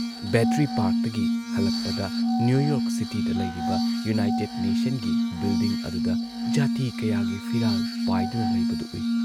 Battery ꯄꯥꯔꯛꯇꯒꯤ ꯍꯜꯂꯛꯄꯗ New York ꯁꯤꯇꯤꯗ ꯂꯩꯔꯤꯕ ꯌꯨꯅꯥꯏꯇꯦꯗ ꯅꯦꯁꯟꯒꯤ ꯕꯤꯜꯗꯤꯡ ꯑꯗꯨꯗ ꯖꯥꯇꯤ ꯀꯌꯥꯒꯤ ꯐꯤꯔꯥꯜ ꯄꯥꯏꯗꯨꯅ ꯂꯩꯕꯗꯨ ꯎꯏ ꯫